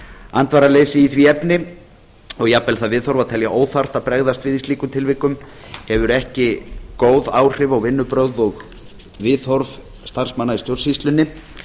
andvaraleysi í því efni og jafnvel það viðhorf að telja óþarft að bregðast við í slíkum tilvikum hefur ekki góð áhrif á vinnubrögð og viðhorf starfsmanna í stjórnsýslunni